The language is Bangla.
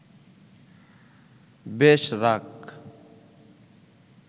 বেশ রাগ